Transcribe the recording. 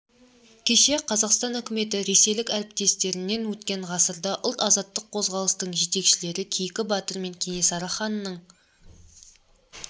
кеше қазақстан үкіметі ресейлік әріптестерінен өткен ғасырда ұлт азаттық қозғалыстың жетекшілері кейкі батыр мен кенесары ханның